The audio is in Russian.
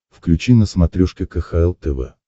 включи на смотрешке кхл тв